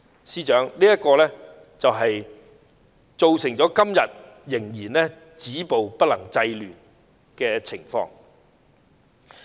司長，這便造成現時仍然止暴不能制亂的局面。